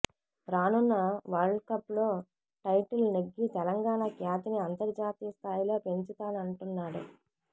రానున్న world cup లో title నెగ్గి తెలంగాణ ఖ్యాతిని అంతర్జాతీయ స్థాయిలో పెంచుతానంటున్నాడు